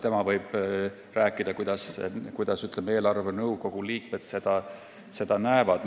Tema võib rääkida, kuidas eelarvenõukogu liikmed seda näevad.